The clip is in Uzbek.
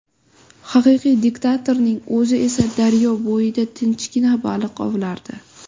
Haqiqiy diktatorning o‘zi esa daryo bo‘yida tinchgina baliq ovlardi.